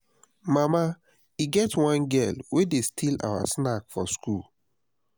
mama e get one girl wey dey steal our snacks for school